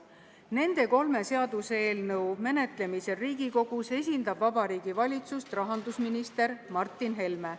Nende kolme seaduseelnõu menetlemisel Riigikogus esindab Vabariigi Valitsust rahandusminister Martin Helme.